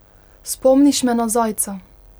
Spomniš me na zajca.